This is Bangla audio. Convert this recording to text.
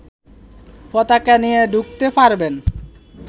পতাকা নিয়ে ঢুকতে পারবেন